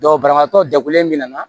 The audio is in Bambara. banabagatɔ jagolen min na